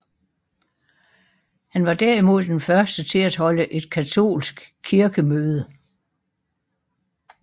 Han var derimod den første til at holde et katolsk kirkemøde